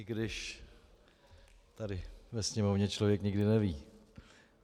I když tady ve Sněmovně člověk nikdy neví.